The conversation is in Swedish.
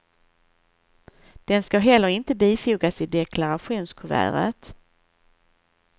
Den ska heller inte bifogas i deklarationskuvertet.